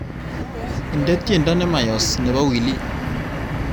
Indene tyendo nemayoos nebo wili